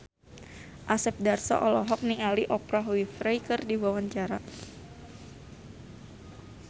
Asep Darso olohok ningali Oprah Winfrey keur diwawancara